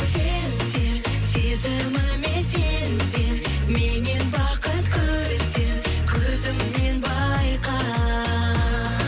сен сен сезіміме сенсең меннен бақыт көрсең көзімнен байқа